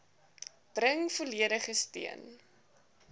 bring volledige steun